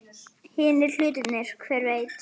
Hinir hlutirnir. hver veit?